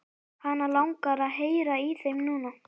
Hana langar að heyra í þeim núna.